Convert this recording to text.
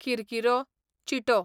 किरकिरो, चिटो